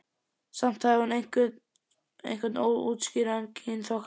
Samt hafði hún einhvern óútskýranlegan kynþokka.